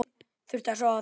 Þurfti að sofa á því.